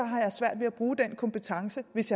har svært ved at bruge den kompetence hvis